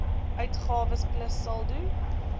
uitgawes plus saldo